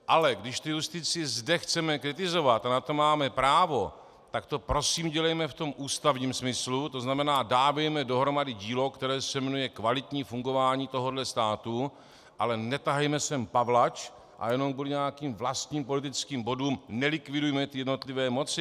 Ale když tu justici zde chceme kritizovat, a na to máme právo, tak to prosím dělejme v tom ústavním smyslu, to znamená dávejme dohromady dílo, které se jmenuje kvalitní fungování tohohle státu, ale netahejme sem pavlač a jenom kvůli nějakým vlastním politickým bodům nelikvidujme ty jednotlivé moci.